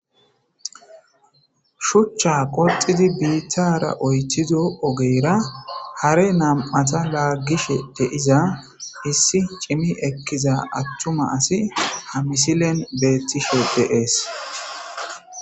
Shuchcha qoxidi biittara oytido ogeyra hare nam'ata laggishe deiza issi cimi ekkiza attuma asi ha misilen beettishe deees.